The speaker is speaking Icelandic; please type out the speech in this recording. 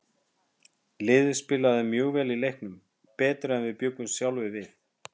Liðið spilaði mjög vel í leiknum, betur en við bjuggumst sjálfir við.